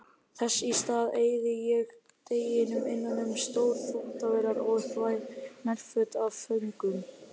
Þess í stað eyði ég deginum innan um stórar þvottavélar og þvæ nærföt af föngum.